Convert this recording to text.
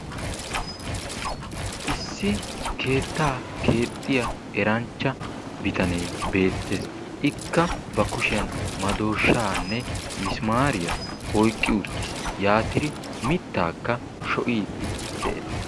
Issi keettaa keexxiyaa erancha bitanee beettes. Ikka bakushiyan madooshaanne misimaariyaa oyiqqi uttis. Yaatidi mittaakka shocci'iiddi des.